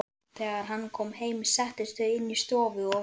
Þegar hann kom heim settust þau inn í stofu og